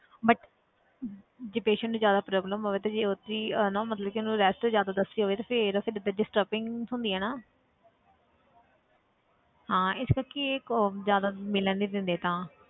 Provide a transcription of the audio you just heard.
but ਜੇ patient ਨੂੰ ਜ਼ਿਆਦਾ problem ਹੋਵੇ ਤੇ ਉਹ 'ਚ ਹੀ ਹਨਾ ਮਤਲਬ ਕਿ ਉਹਨੂੰ rest ਜ਼ਿਆਦਾ ਦੱਸੀ ਹੋਵੇ ਤੇ ਫਿਰ ਫਿਰ ਤੇ disturbing ਹੁੰਦੀ ਆ ਨਾ ਹਾਂ ਇਸ ਕਰਕੇ ਇਹ ਕਿ ਜ਼ਿਆਦਾ ਮਿਲਣ ਨੀ ਦਿੰਦੇ ਤਾਂ।